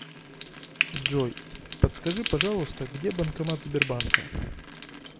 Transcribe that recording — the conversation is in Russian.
джой подскажи пожалуйста где банкомат сбербанка